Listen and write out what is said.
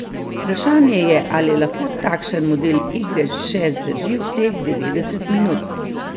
Vprašanje je, ali lahko takšen model igre še zdrži vseh devetdeset minut.